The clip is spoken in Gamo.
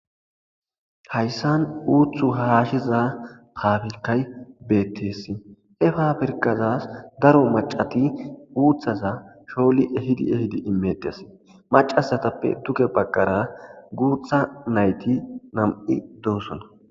Haysan uthi hashiza pabirkay betes he pabirkaza daro machati uthata shoshi piti piti imetes machatape duge bagara gutha nayti nam'uy dossona